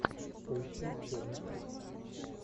поищи черный список